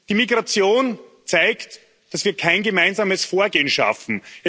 Die Migration zeigt, dass wir kein gemeinsames Vorgehen schaffen.